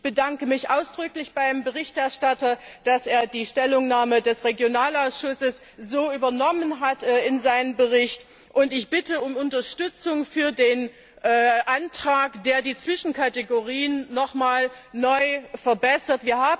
Ich bedanke mich ausdrücklich beim Berichterstatter, dass er die Stellungnahme des Regionalausschusses so in seinen Bericht übernommen hat, und ich bitte um Unterstützung für den Antrag, der die Zwischenkategorien noch einmal verbessert.